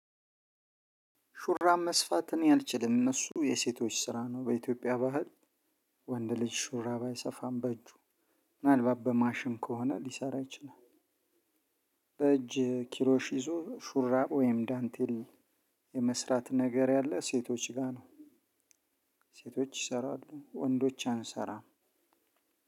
ሹራብ መስፋት እኔ አልችልም እነሱ የሴቶች ስራ ነው በኢትዮጵያ ባህል ወንድ ልጅ ሹራብ አይሰፋም በእጁ ምናልባት በማሽን ከሆነ ሊሰራ ይችላል። በእጅ ኪሮሽ ይዞ ሹራብ ወይም ዳንቴል የመስራት ነገር ያለ ሴቶች ጋር ነው። ሴቶች ይሰራሉ ወንዶች አንሰራም።